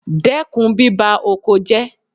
Dẹ́kun bíba oko jẹ́.